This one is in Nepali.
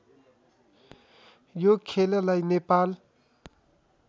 यो खेललाई नेपाल